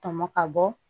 Tɔmɔ ka bɔ